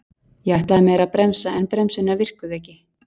Ég ætlaði mér að bremsa en bremsurnar virkuðu ekki